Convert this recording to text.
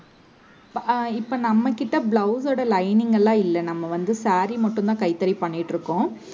இப்ப நம்மகிட்ட blouse ஓட lining எல்லாம் இல்ல. நம்ம வந்து saree மட்டும்தான் கைத்தறி பண்ணிட்டு இருக்கோம்